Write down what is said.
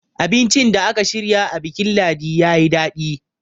abincin da aka shirya a bikin ladi ya yi daɗi